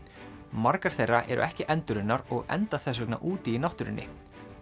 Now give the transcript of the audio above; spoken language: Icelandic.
margar þeirra eru ekki endurunnar og enda þess vegna úti í náttúrunni